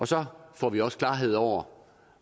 så får vi også klarhed over